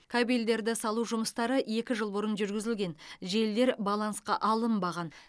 кабельдерді салу жұмыстары екі жыл бұрын жүргізілген желілер балансқа алынбаған